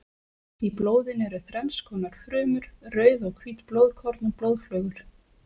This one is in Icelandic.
Í blóðinu eru þrenns konar frumur: rauð og hvít blóðkorn og blóðflögur.